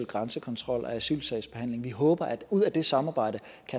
grænsekontrol og asylsagsbehandling vi håber at der ud af det samarbejde